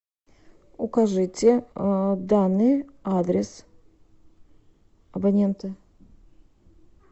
укажите данный адрес абонента